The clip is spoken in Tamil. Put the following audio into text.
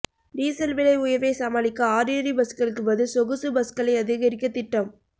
டீசல் விலை உயர்வை சமாளிக்க ஆர்டினரி பஸ்களுக்குப் பதில் சொகுசு பஸ்களை அதிகரிக்க திட்டம்